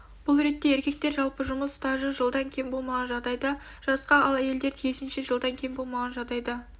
бұл ретте еркектер жалпы жұмыс стажы жылдан кем болмаған жағдайда жасқа ал әйелдер тиісінше жылдан кем болмаған жағдайда